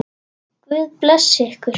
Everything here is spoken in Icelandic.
Guð blessi ykkur.